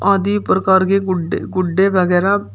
आदि प्रकार के गुड्डे गुड्डे वगैरा--